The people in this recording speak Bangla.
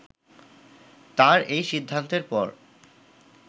তার এই সিদ্ধান্তের পর